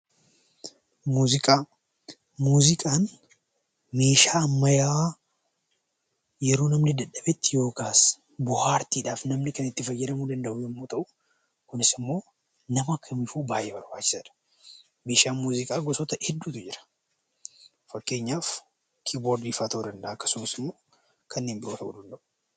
Muuziqaa Muuziqaan meeshaa ammayyaa yeroo namni dadhabetti yookaas bohaartiidhaaf namni kan itti fayyadamuu danda'u yommuu ta'u, kunis immoo nama kamiifuu baay'ee barbaachisaa dha. Meeshaan muuziqaa gosoota hedduutu jira. Fakkeenyaaf, kiiboordii faa ta'uu danda'a; akkasumas immoo kanneen biroo ta'uu danda'u.